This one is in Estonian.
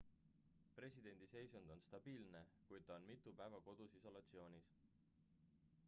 presidendi seisund on stabiilne kuid ta on mitu päeva kodus isolatsioonis